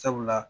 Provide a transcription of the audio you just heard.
Sabula